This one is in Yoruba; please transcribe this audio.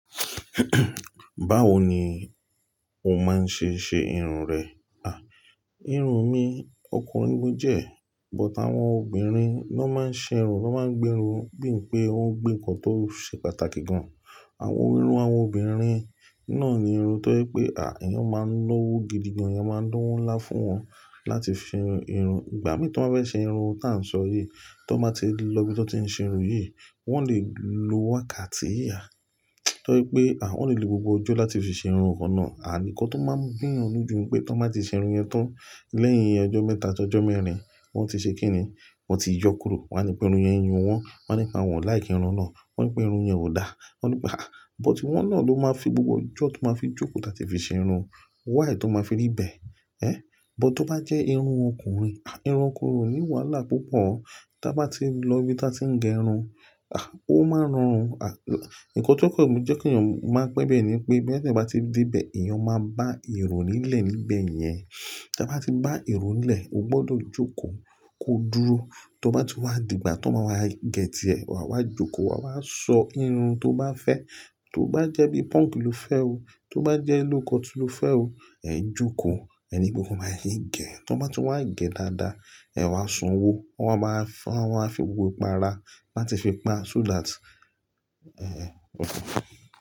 Báwo ni o máa ń ṣe ṣe irun rẹ? Irun mi ọkùnrin mi jẹ́, but àwọn obìnrin ló máa ń ṣe irun, ló máa ń gbé irun, bí ń pé wón gbé nǹkan tó ṣe pàtàkì gan. Àwọn irun àwọn obìnrin náà ni irun tó ye pé à, èèyàn máa ń lọ́wó gidi gan, èèyàn máa ń dáwó ńlá fún wọn láti fi ṣe irun. Ìgbà mí tó bá fẹ́ ṣe irun táa ń sọ yìí, tó bá ti lọ ibi tó ti ń ṣe irun yìí, wọ́n lè lo wákàtí yà. Torí pé, wọ́n lè lo gbogbo ọjọ́ láti fi ṣe irun kàn náà. Àn nkan tó máa ń gbìyànjú ju pé tó bá ti ṣe irun yẹn tán lẹ́yìn ọjọ́ mẹ́ta tó ọjọ́ mẹ́rin, wọ́n ti ṣe kíni, wọ́n ti yọ kúrò. Wọ́n á nipé irun yẹn yun wọ́n, wọ́n á nípa wọ́n láì kí irun náà, wọ́n á nipé irun yẹn ò da. Wọ́n á ní pé à, but wọ́n náà ló máa fi gbogbo ojú tó máa fi jókòó táa ti fi ṣe irun. Wáì tó máa fi rí ibẹ̀. Ẹ̀n, but tó bá jẹ́ irun ọkùnrin, à irun ọkúnrin o ní wàhálà púpọ̀. Tí a bá ti lọ ibi tí a ti ń gẹ irun, à ó máa ń rọrùn. À, nǹkan tí ó kọ̀ jẹ́ kí èèyàn máa pẹ́ bẹ́ẹ̀ ni pé bí ẹni bá ti dé ibẹ̀, èèyàn máa bá èrò nílẹ̀ níbẹ̀ yẹn. Tí a bá ti bá èrò nílẹ̀, o gbọdọ̀ jókòó, ko dúró. Tó bá tún wá dìgbà tó máa wá gẹ tiẹ̀, wàá wá jókòó, wà á sọ irun tó bá fẹ́. Tó bá jẹ́ bí punk lo fẹ́ o, tó bá jẹ́ lókọtí lo fẹ́ o, ẹ̀ jókòó, ẹni gbogbo máa ń gẹ̀. Tí wọ́n bá tún wá gẹ̀ dáadáa, ẹ̀ wá sanwó, wọ́n máa fún, wọ́n á fi òwe para láti fi pa súdà tí, ẹ́, òkú.